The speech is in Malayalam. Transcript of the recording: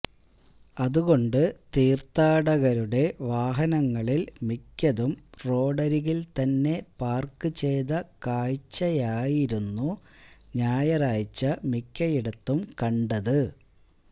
അതുകൊണ്ട് തീർഥാടകരുടെ വാഹനങ്ങളിൽ മിക്കതും റോഡരികിൽത്തന്നെ പാർക്കുചെയ്ത കാഴ്ചയായിരുന്നു ഞായറാഴ്ച മിക്കയിടത്തും കണ്ടത്